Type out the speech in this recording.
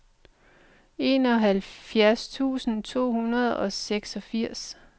enoghalvfjerds tusind to hundrede og seksogfirs